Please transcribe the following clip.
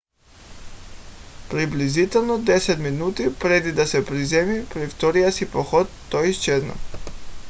приблизително 10 минути преди да се приземи при втория си подход той изчезна